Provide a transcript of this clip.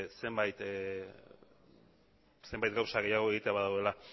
zenbait gauza gehiago egitea badagoela